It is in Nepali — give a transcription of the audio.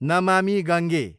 नमामी गङ्गे